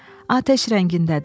Atəş rəngindədir.